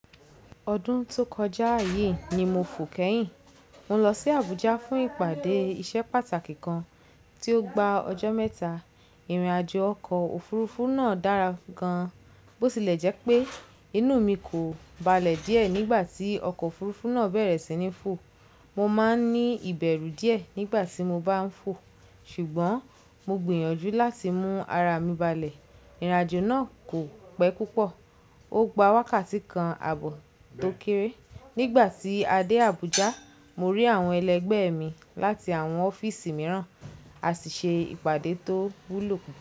Ọdún tó kọjá yìí ni mo fò kẹ́yìn. Mo lọ sí Abuja fún ìpàdé isẹ́ pàtàkì kan tí ó gba ọjọ́ mẹ́ta. Ìrìnàjò ọkọ̀ òfurufú náà dára gan, bó tilẹ̀ jẹ́ pé inú mi kò balẹ̀ díẹ̀ nígbà tí ọkọ̀ òfurufú náà bẹ̀rẹ̀ sí ní fò. Mo máa ń ní ìbẹ̀rù díẹ̀ nígbà tí mo bá ń fò, ṣùgbọ́n mo gbìyànjú láti mú ara mi balẹ̀. Ìrìnàjò náà kò pẹ́ púpọ̀, ó gba wákàtí kan àbọ̀ tó kéré. Nígbà tí a dé Abuja, mo rí àwọn ẹlẹgbẹ́ mi láti àwọn ọ́fíìsì mìíràn, a sì ṣe ìpàdé tó wúlò púpọ̀.